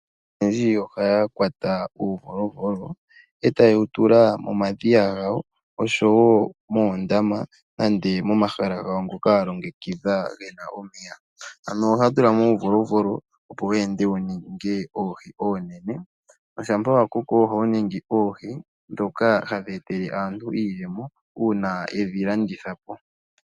Aantu oyendji ohaya kwata uuvolovolo e ta ye wu tula momadhiya gawo osho wo muundama nenge momahala gawo ngoka ya longekidha ge na omeya. Ohaya tu la mo uuvolovolo opo wu ninge oohi oonene, shampa wa koko ohawu ningi oohi oonene ndhoka hadhi ya etele iiyemo uuna ye dhi landitha po.